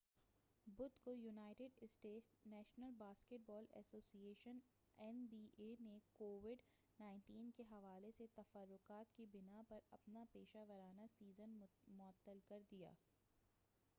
بُدھ کویونائیٹڈ states national basketball association N B A نے کووڈ-19 کے حوالے سے تفکّرات کی بناء پر اپنا پیشہ ورانہ سیزن معطل کردیا۔